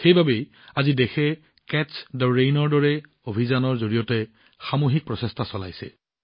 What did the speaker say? সেইবাবেই আজি দেশে বৰষুণৰ পানী সংৰক্ষণ কৰাৰ দৰে অভিযানৰ জৰিয়তে সামূহিক প্ৰচেষ্টা চলাইছে